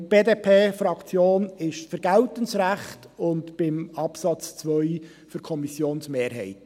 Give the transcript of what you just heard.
Deshalb ist die BDP-Fraktion für geltendes Recht und beim Absatz 2 für die Kommissionsmehrheit.